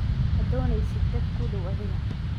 Ma doonaysid dad kugu daaw adiga .